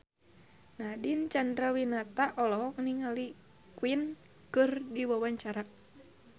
Nadine Chandrawinata olohok ningali Queen keur diwawancara